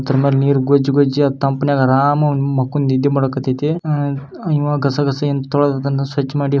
ಇದರ ಮೇಲ್ ನೀರ್ ಗೊಜ್ - ಗೊಜ್ ತಂಪ್ ನಾಗೇ ಆರಾಮಗೆ ಮಕ್ಕೊಂದ್ ನಿದ್ದೆ ಮಾಡಕ್ ಅತ್ ಐತಿ. ಹಾ ಇವಾ ಗಸ ಗಸ ತೊಳೆದ್ ಅದನ್ನ ಸ್ವಚ್ ಮಾಡಿ--